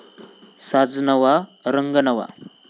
साज नवा, रंग नवा